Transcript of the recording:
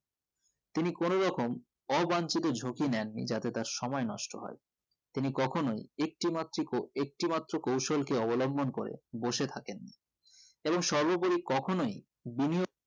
তিনি কেন রকম অবাঞ্চিত ঝুঁকি নেন নি যাতে অত্র সময় নষ্ট হয় তিনি কখনোই একটি মাত্রিক ও একটি মাত্র কৌশল কে অবলম্বন করে বসে থাকেনি এবং সর্ব পড়ি কখনোই বিনিয়োগ